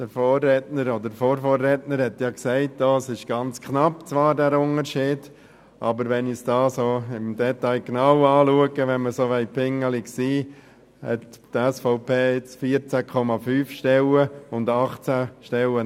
Der Vorredner oder Vorvorredner hat gesagt, der Unterschied sei ganz knapp, aber wenn ich es im Detail betrachte und wir pingelig sein wollen, hat die SVP 14,5 Stellen, aber Anspruch auf 18 Stellen.